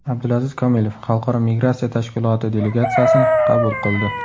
Abdulaziz Komilov Xalqaro migratsiya tashkiloti delegatsiyasini qabul qildi.